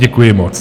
Děkuji moc.